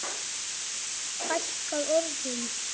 Fækkar orðum?